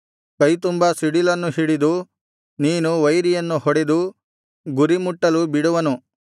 ಕೈತುಂಬಾ ಸಿಡಿಲನ್ನು ಹಿಡಿದು ನೀನು ವೈರಿಯನ್ನು ಹೊಡೆದು ಗುರಿಮುಟ್ಟುಲು ಬಿಡುವನು